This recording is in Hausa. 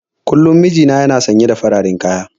Kullum mijina yana sanye da fararen kaya.